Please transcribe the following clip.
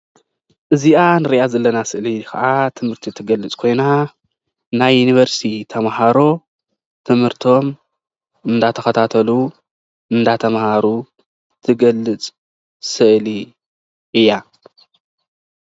እዚ ምስሊ ናይ ዩኒቨርስቲ ተማሃሮ ትምህርቲ እንትካታተሉ የርኢ።